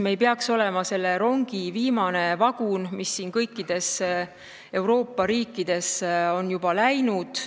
Me ei peaks olema selle rongi viimane vagun, mis kõikides Euroopa riikides on juba läinud.